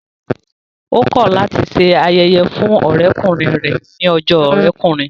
Ó kọ̀ láti se ayẹyẹ fún ọ̀rẹ́kùnrin rẹ̀ ní ọjọ́ ọ̀rẹ́kùnrin